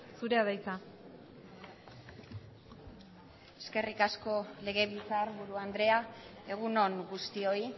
zurea da hitza eskerrik asko legebiltzarburu andrea egun on guztioi